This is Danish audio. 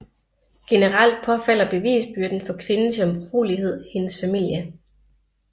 Generelt påfalder bevisbyrden for kvindens jomfruelighed hendes familie